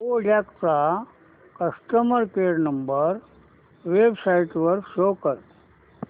Kodak चा customer care number website वर शोध